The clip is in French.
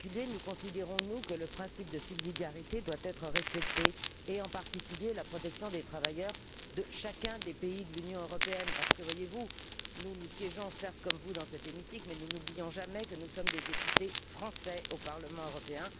Nous considérons, en particulier, que le principe de subsidiarité doit être respecté, et notamment la protection des travailleurs de chacun des pays de l'Union européenne, parce que, voyez vous, nous siégeons certes, comme vous, dans cet hémicycle, mais nous n'oublions jamais que nous sommes des députés français au Parlement européen.